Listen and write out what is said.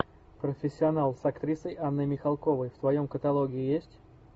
профессионал с актрисой анной михалковой в твоем каталоге есть